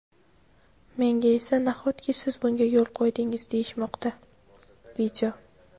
menga esa "nahotki siz bunga yo‘l qo‘ydingiz" deyishmoqda.